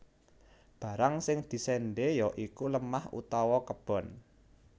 Barang sing diséndhé ya iku lemah utawa kebon